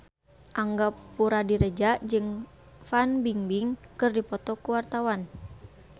Angga Puradiredja jeung Fan Bingbing keur dipoto ku wartawan